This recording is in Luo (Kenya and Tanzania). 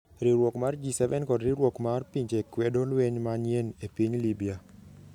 Riwruok mar G7 kod Riwruok mar Pinje kwedo lweny manyien e piny Libya